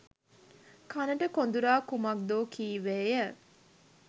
කනට කොඳුරා කුමක්දෝ කීවේය